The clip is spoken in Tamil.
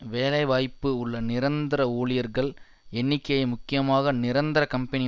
வேலை வாய்ப்பு உள்ள நிரந்தர ஊழியர்கள் எண்ணிக்கை முக்கியமாக நிரந்தர கம்பெனி